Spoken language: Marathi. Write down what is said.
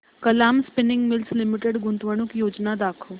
कलाम स्पिनिंग मिल्स लिमिटेड गुंतवणूक योजना दाखव